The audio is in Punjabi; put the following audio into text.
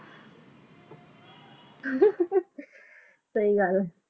ਸਹੀ ਗਲ ਆ